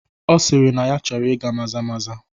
Ọ sịrị na ya chọrọ ịga maza maza